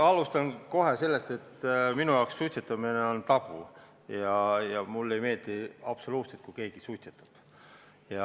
Ma alustan kohe sellest, et minu jaoks suitsetamine on tabu ja mulle ei meeldi absoluutselt, kui keegi suitsetab.